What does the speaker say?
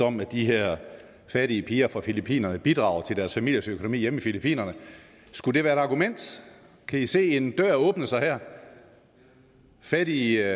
om at de her fattige piger fra filippinerne bidrager til deres familiers økonomi hjemme i filippinerne skulle det være et argument kan i se en dør åbne sig her fattige